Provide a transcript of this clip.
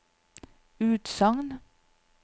utsagn